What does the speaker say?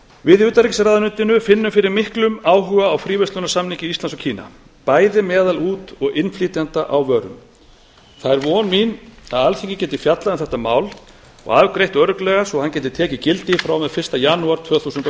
við í utanríkisráðuneytinu finnum fyrir miklum áhuga á fríverslunarsamningi íslands og kína bæði meðal út og innflytjenda á vörum það er von mín að alþingi geti fjallað um þetta mál og afgreitt örugglega svo hann geti tekið gildi frá og með fyrsta janúar tvö þúsund og